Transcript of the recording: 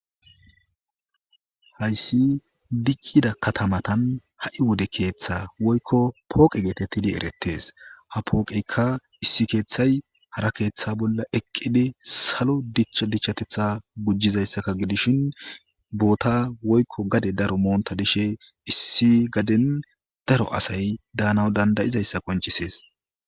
hayssi diccida katamatan ha7i wode keeththa woykko pooqe geetettidi erettes ha pooqeykka issi keeththay hara keeththa bolla eqqidi salo dicha dichchatetha bujjizayssaka gidishin boota woykko gade daro moonta dishe issi gadin daro asay daanaw dandayizayssa qoncisees